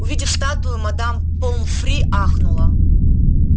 увидев статую мадам помфри ахнула